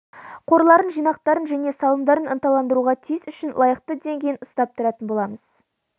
қорларын жинақтарын және салымдарын ынталандыруға тиіс үшін лайықты деңгейін ұстап тұратын боламыз